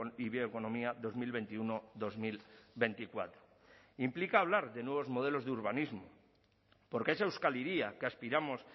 y bioeconomía dos mil veintiuno dos mil veinticuatro implica hablar de nuevos modelos de urbanismo porque esa euskal hiria que aspiramos